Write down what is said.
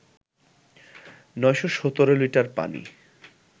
৯১৭ litre পানি